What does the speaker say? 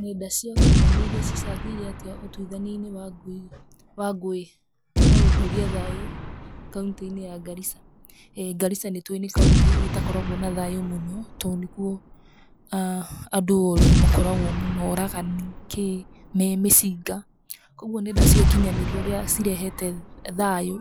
Nenda cia ũkinyanĩria cicangĩire atĩa ũtuithani wa ngũĩ na gũkũria thayũ kauntĩ-inĩ ya Garissa? Garissa nĩ tũĩ nĩ kauntĩ ĩtakoragwo na thaayũ mũno to nĩ kuo andũ oru mũno oragani, kĩĩ me mĩcinga. Kwoguo nenda cia ũkinyanĩria ũria cireheta thaayũ